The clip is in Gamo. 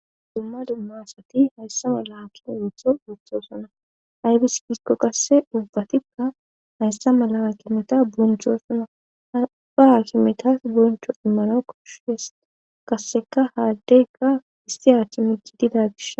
dumma dummasati hayssa ma laakime ruutho wuthosuna aybis gisko qasse dubbatikka hayssa malama kimeta boncho sona apaa kimetas boncho immano koshes kasseka haaddegga histi ach migi dida gish